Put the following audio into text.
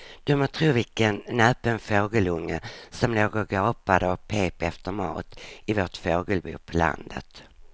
Du må tro vilken näpen fågelunge som låg och gapade och pep efter mat i vårt fågelbo på landet.